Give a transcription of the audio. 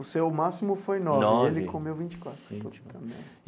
O seu o máximo foi nove. Nove. E ele comeu vinte e quatro.